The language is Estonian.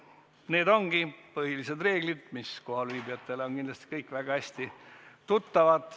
Need ongi põhilised reeglid, mis kohalviibijatele on kindlasti väga hästi tuttavad.